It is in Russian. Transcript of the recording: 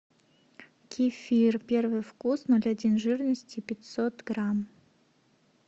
кефир первый вкус ноль один жирности пятьсот грамм